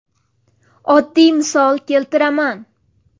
Oddiy misol keltiraman.